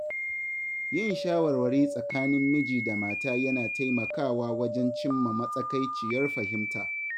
Yin shawarwari tsakanin miji da mata yana taimakawa wajen cimma matsakaiciyar fahimta.